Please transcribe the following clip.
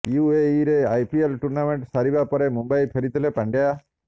ୟୁଏଇରେ IPL tournament ସରିବା ପରେ ମୁମ୍ବାଇ ଫେରିଥିଲେ ପାଣ୍ଡ୍ୟା